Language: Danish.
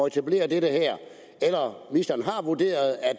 etablerer det her eller om ministeren har vurderet at